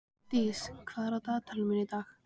Dís, hvað er í dagatalinu í dag?